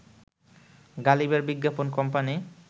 গালিবের বিজ্ঞাপন কোম্পানি